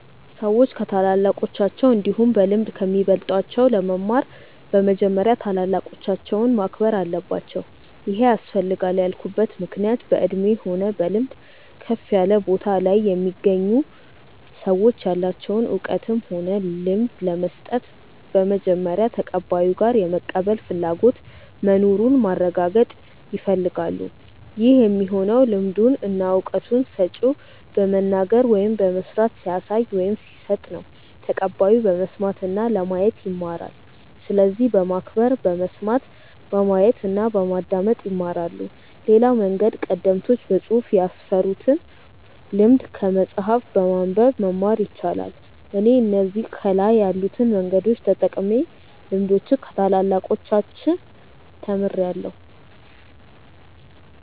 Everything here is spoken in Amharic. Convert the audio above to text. ሰዎች ከታላላቆቻቸው እንዲሁም በልምድ ከሚበልጧቸው ለመማር በመጀመሪያ ታላላቆቻቸውን ማክበር አለባቸው ይሄ ያስፈልጋል ያልኩበት ምክንያት በእድሜ ሆነ በልምድ ከፍ ያለ ቦታ ላይ የሚገኙ ሰዎች ያላቸውን እውቀትም ሆነ ልምድ ለመስጠት በመጀመሪያ ተቀባዩ ጋር የመቀበል ፍላጎቱ መኑሩን ማረጋገጥ ይፈልጋሉ ይህ የሚሆነው ልምዱን እና እውቀቱን ሰጪው በመናገር ወይም በመስራት ሲያሳይ ወይም ሲሰጥ ነው ተቀባዩ በመስማት እና ለማየት ይማራል። ስለዚህ በማክበር በመስማት፣ በማየት እና በማዳመጥ ይማራሉ። ሌላው መንገድ ቀደምቶች በፅሁፍ ያስፈሩትን ልምድ ከመጽሐፍ በማንበብ መማር ይቻላል። እኔ እነዚህ ከላይ ያሉትን መንገዶች ተጠቅሜ ልምዶችን ከታላላቆቻች ተምርያለው።